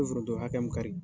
U bɛ foronto hakɛya min kari